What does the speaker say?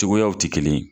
Cogoyaw tɛ kelen ye